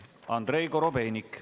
Andrei Korobeinik.